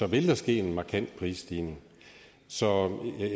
vil der ske en markant prisstigning så